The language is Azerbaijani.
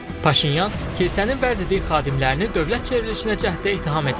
Paşinyan kilsənin vəzifəli xadimlərini dövlət çevrilişinə cəhddə ittiham edir.